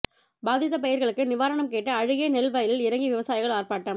பாதித்த பயிர்களுக்கு நிவாரணம் கேட்டு அழுகிய நெல் வயலில் இறங்கி விவசாயிகள் ஆர்ப்பாட்டம்